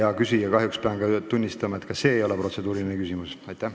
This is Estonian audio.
Hea küsija, kahjuks pean tunnistama, et ka see ei ole protseduuriline küsimus.